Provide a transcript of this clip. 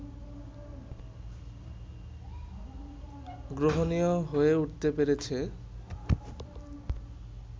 গ্রহণীয় হয়ে উঠতে পেরেছে